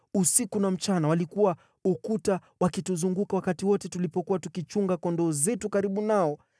Usiku na mchana walikuwa ukuta wakituzunguka wakati wote tulipokuwa tukichunga kondoo zetu karibu nao.